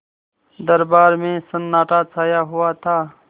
दरबार में सन्नाटा छाया हुआ था